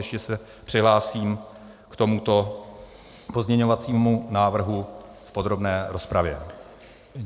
Ještě se přihlásím k tomuto pozměňovacímu návrhu v podrobné rozpravě.